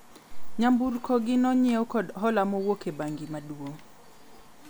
nyamburko gi ne onyiew kod hola moruok e bengi maduong'